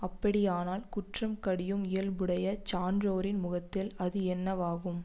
அப்படியானால் குற்றம் கடியும் இயல்புடைய சான்றோரின் முகத்தில் அது எண்ணவாகும்